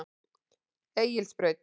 Egilsbraut